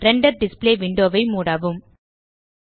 render display window ஐ மூடவும்